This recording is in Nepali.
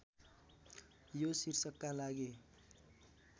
यो शीर्षकका लागि